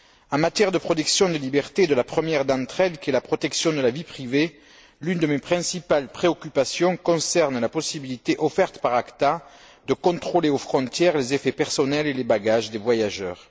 En matière de protection des libertés et de la première d'entre elles, qui est la protection de la vie privée, l'une de mes principales préoccupations concerne la possibilité offerte par ACTA de contrôler aux frontières les effets personnels et les bagages des voyageurs.